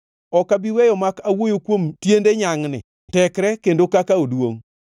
“Ok abi weyo mak awuoyo kuom tiende nyangʼni, tekre kendo kaka oduongʼ.